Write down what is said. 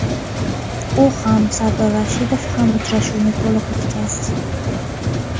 U ham, Sardor Rashidov ham uchrashuvni to‘liq o‘tkazdi.